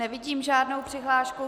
Nevidím žádnou přihlášku.